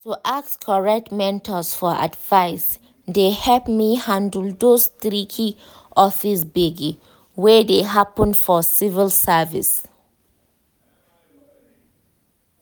to ask correct mentors for advice dey help me handle those tricky office gbege wey dey happen for civil service.